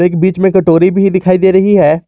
बीच में कटोरी भी दिखाई दे रही है।